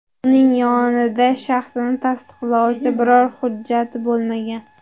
Uning yonida shaxsini tasdiqlovchi biror hujjati bo‘lmagan.